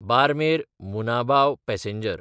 बारमेर–मुनाबाव passenger